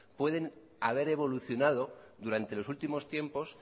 pueden haber evolucionada durante los últimos tiempos